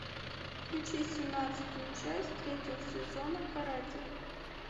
включи семнадцатую часть третьего сезона каратель